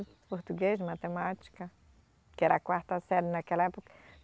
Português, matemática, que era quarta série naquela época.